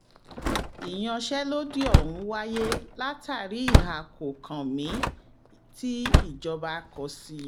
ìyànṣelòdì ọ̀hún wáyé látàrí ìhà kò-kan-mí tìjọba kò sí